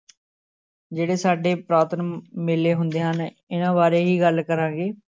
ਜਿਹੜੇ ਸਾਡੇ ਪੁਰਾਤਨ ਮੇਲੇ ਹੁੰਦੇ ਹਨ ਇਹਨਾਂ ਬਾਰੇ ਹੀ ਗੱਲ ਕਰਾਂਗੇ